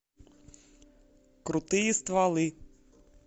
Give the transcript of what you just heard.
крутые стволы